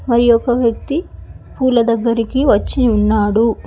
ఆ యొక వ్యక్తి పూల దగ్గరికి వచ్చి ఉన్నాడు.